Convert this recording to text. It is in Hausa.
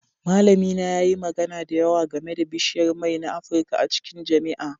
Malamina yayi magana da yawa game da bishiyar mai na Afirka a cikin jami'a